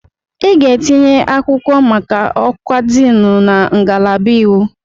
Ị ga-etinye akwụkwọ maka ọkwa Diini na ngalaba iwu!